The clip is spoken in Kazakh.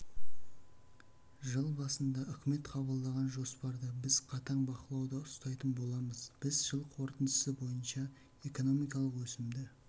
жыл басында үкімет қабылданған жоспарды біз қатаң бақылауда ұстайтын боламыз біз жыл қорытындысы бойынша экономикалық өсімді